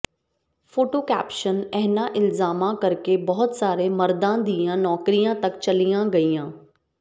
photo caption ਇਨ੍ਹਾਂ ਇਲਜ਼ਾਮਾਂ ਕਰਕੇ ਬਹੁਤ ਸਾਰੇ ਮਰਦਾਂ ਦੀਆਂ ਨੌਕਰੀਆਂ ਤੱਕ ਚਲੀਆਂ ਗਈਆਂ